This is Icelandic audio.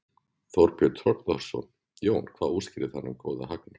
Þorbjörn Þórðarson: Jón, hvað útskýrir þennan góða hagnað?